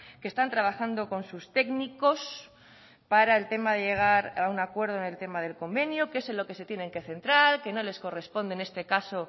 que están trabajando con sus técnicos para el tema de llegar a un acuerdo en el tema del convenio que es en lo que se tienen que centrar que no les corresponde en este caso